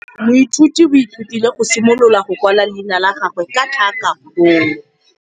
Moithuti o ithutile go simolola go kwala leina la gagwe ka tlhakakgolo.